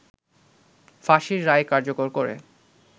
ফাঁসির রায় কার্যকর করে